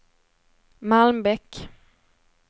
Malmbäck